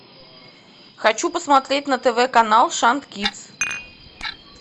хочу посмотреть на тв канал шант кидс